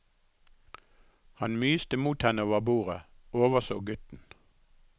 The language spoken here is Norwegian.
Han myste mot henne over bordet, overså gutten.